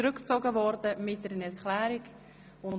Die Motion wurde zurückgezogen.